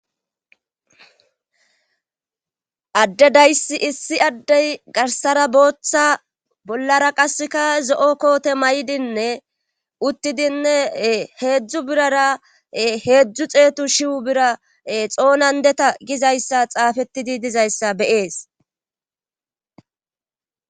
Adde dayssi issi addey garsara booththa bollara qaseka zo7o koote may7idinne uttidinne heedzdzu birara heedzdzu xeetu shiwu bira xoonan deta gizayssa xaafettidi dizayssa be7ees.